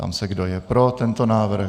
Ptám se, kdo je pro tento návrh.